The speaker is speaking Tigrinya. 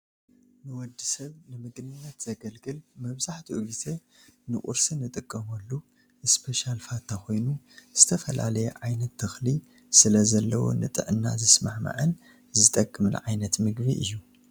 ንወድሰብ ንምግብነት ዘገልግል መብዛሕትኡ ግዜ ንቁርሲ ንጥቀመሉ እስፔሻል ፋታ ኮይኑ ዝተፈላለየ ዓይነት ተኽሊ ስለዘለዎ ንጥዕና ዝስማማዕን ዝጠቅምን ዓይነት ምግቢ እዩ።